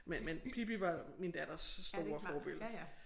Men men Pippi var min datters store forbillede